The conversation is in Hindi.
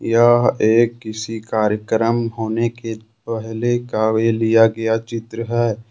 यह एक किसी कार्यक्रम होने के पहले का ये लिया गया चित्र है।